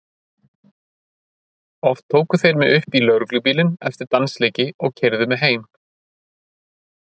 Oft tóku þeir mig upp í lögreglubílinn eftir dansleiki og keyrðu mig heim.